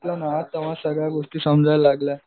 तेंव्हा सगळ्या गोष्टी समजाय लागल्या.